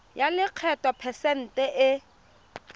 ya lekgetho phesente e